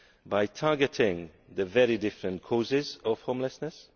by targeting the very different causes of homelessness